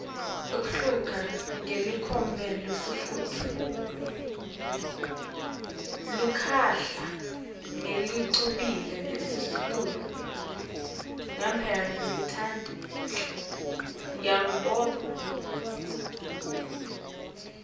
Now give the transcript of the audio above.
luhlaka ngelicophelo lelisetulu